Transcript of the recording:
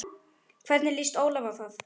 Hvernig lýst Ólafi á það?